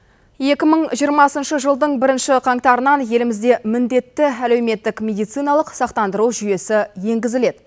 екі мың жиырмасыншы жылдың бірінші қаңтарынан елімізде міндетті әлеуметтік медициналық сақтандыру жүйесі енгізіледі